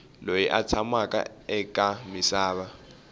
loyi a tshamaku eka misava